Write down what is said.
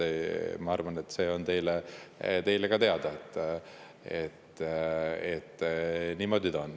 Ma arvan, et see on teile ka teada, et niimoodi on.